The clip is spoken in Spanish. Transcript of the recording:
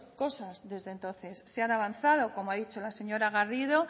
cosas desde entonces se ha avanzado como ha dicho la señora garrido